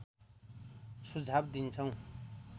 सुझाव दिन्छौँ